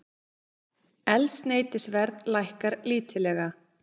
Eldsneytisverð lækkar lítillega